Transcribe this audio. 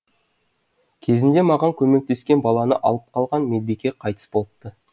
кезінде маған көмектескен баланы алып қалған медбике қайтыс болыпты